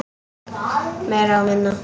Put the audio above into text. Meira og minna.